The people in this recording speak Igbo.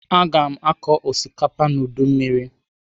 Aga m akọ osikapa n'udumiri..